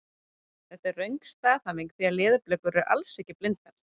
Þetta er þó röng staðhæfing því leðurblökur eru alls ekki blindar!